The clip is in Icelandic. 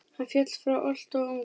Hann féll frá alltof ungur.